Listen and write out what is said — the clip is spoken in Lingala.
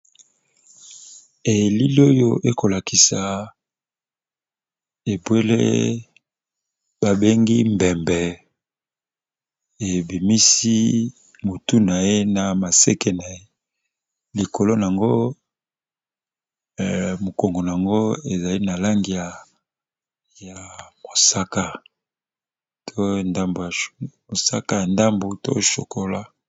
Elili oyo ekolakisa ebwele ba bengi mbembe ebimisi mutu naye na maseke likolo na yango mukongo nayango ba langi ya mosaka pe na ngambo ya chocolat.